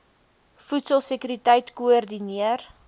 voedsel sekuriteit koördineer